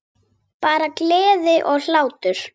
Bara gleði og hlátur.